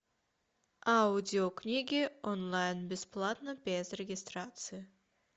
аудиокниги онлайн бесплатно без регистрации